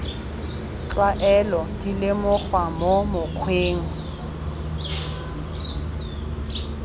tlwaelo di lemogiwa mo mokgweng